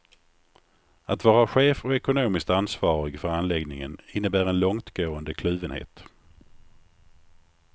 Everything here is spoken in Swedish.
Att vara chef och ekonomiskt ansvarig för anläggningen innebär en långtgående kluvenhet.